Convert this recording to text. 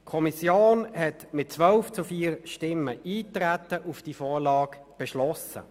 Die Kommission hat mit 12 zu 4 Stimmen Eintreten auf diese Vorlage beschlossen.